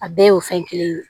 A bɛɛ y'o fɛn kelen ye